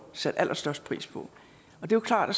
satte allerstørst pris på det er klart at